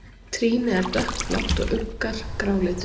Trýni er dökkblátt og uggar gráleitir.